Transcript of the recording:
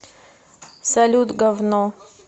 салют гавно